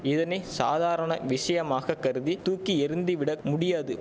இதனை சாதாரண விஷயமாக கருதி தூக்கி எறிந்து விட முடியாது